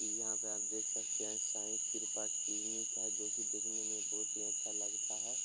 यहाँ पे आप देख सकते हैं साई कृपा क्लिनिक है जो की देखने मे बोहोत ही अच्छा लगता है।